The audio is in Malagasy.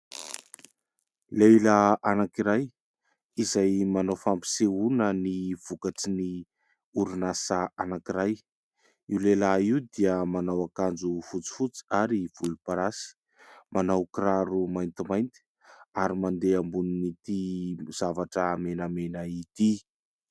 Lehilahy anankiray izay manao fampisehoana ny vokatry ny orinasa anankiray, io lehilahy io dia manao akanjo fotsifotsy ary volomparasy, manao kiraro maintimainty ary mandeha ambonin'ity zavatra menamena ity.